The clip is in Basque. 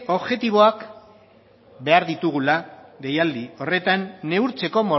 objektiboak behar ditugula deialdi horretan neurtzeko